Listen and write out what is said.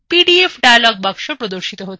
পিডিএফডায়লগ box প্রদর্শিত হচ্ছে